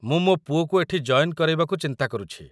ମୁଁ ମୋ ପୁଅକୁ ଏଠି ଜଏନ୍ କରେଇବାକୁ ଚିନ୍ତା କରୁଛି ।